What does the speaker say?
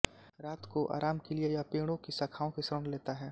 रात को आराम के लिए यह पेड़ों की शाखाओं की शरण लेता है